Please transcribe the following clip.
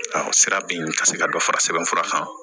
Sira bin ka se ka dɔ fara sɛbɛn fura kan